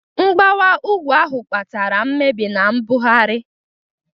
Mgbawa ugwu ahụ kpatara mmebi na mbugharị.